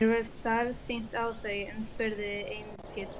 Mér varð starsýnt á þau en spurði einskis.